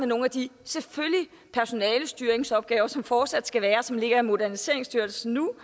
nogle af de personalestyringsopgaver som der fortsat skal være og som ligger i moderniseringsstyrelsen nu